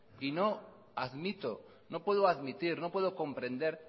y no admito no puedo admitir no puedo comprender